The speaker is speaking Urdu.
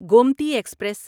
گومتی ایکسپریس